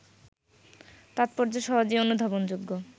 তাৎপর্য সহজেই অনুধাবনযোগ্য